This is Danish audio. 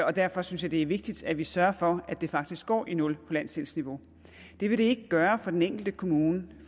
og derfor synes jeg det er vigtigt at vi sørger for at det faktisk går i nul på landsdelsniveau det vil det ikke gøre for den enkelte kommune